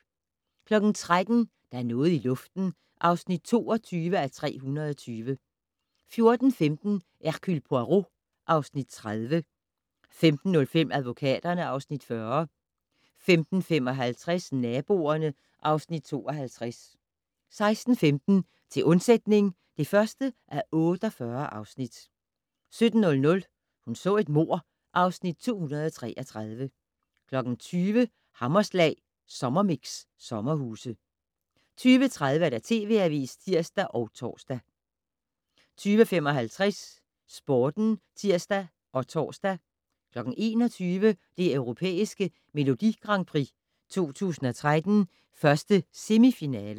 13:00: Der er noget i luften (22:320) 14:15: Hercule Poirot (Afs. 30) 15:05: Advokaterne (Afs. 40) 15:55: Naboerne (Afs. 52) 16:15: Til undsætning (1:48) 17:00: Hun så et mord (Afs. 233) 20:00: Hammerslag Sommermix: Sommerhuse 20:30: TV Avisen (tir og tor) 20:55: Sporten (tir og tor) 21:00: Det Europæiske Melodi Grand Prix 2013, 1. semifinale